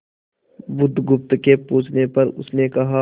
बुधगुप्त के पूछने पर उसने कहा